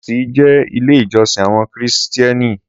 Sọ́ọ́sì jẹ́ ilé ìjọsìn àwọn kìrìsìténì.